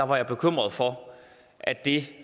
var bekymret for at det